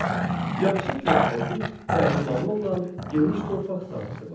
Yaxşı körfəzi və limanı olan geniş torpaq sahəsi var.